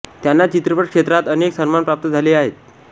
त्यांना चित्रपट क्षेत्रात अनेक सन्मान प्राप्त झाले आहेत